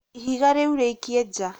ihiga rĩu rĩikie ja